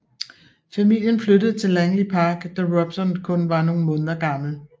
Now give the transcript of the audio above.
Familien flyttede til Langley Park da Robson kun var nogle måneder gammel